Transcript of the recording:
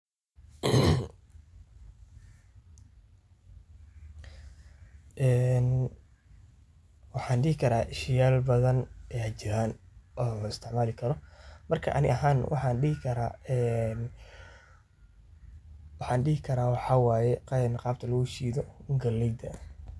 Een waxan dixi karaa sheyal badan aya jiran oo laisticmali karo, marka ani ahan waxan dixikaraa een wahandixikaraa waxa wayee gebta loshido galeyda.